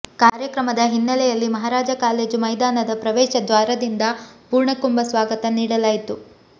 ಕಾರ್ಯಕ್ರಮದ ಹಿನ್ನೆಲೆ ಯಲ್ಲಿ ಮಹಾರಾಜ ಕಾಲೇಜು ಮೈದಾನದ ಪ್ರವೇಶ ದ್ವಾರದಿಂದ ಪೂರ್ಣಕುಂಭ ಸ್ವಾಗತ ನೀಡಲಾಯಿತು